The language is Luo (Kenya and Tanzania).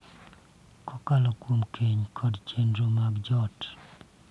Kokalo kuom keny kod chenro mag joot.